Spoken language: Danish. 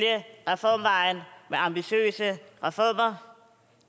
reformvejen med ambitiøse reformer